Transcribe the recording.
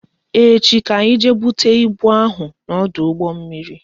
Echi ka anyị jee bute ibu ahụ n'ọdụ ụgbọ mmiri